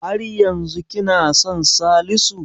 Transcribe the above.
Har yanzu kina son Salisu?